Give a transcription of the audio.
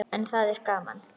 En það er gaman.